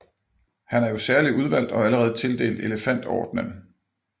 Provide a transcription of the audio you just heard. Han er jo særlig udvalgt og allerede tildelt elefantordenen